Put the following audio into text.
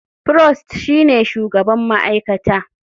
Prost shine shugaban ma'aikata.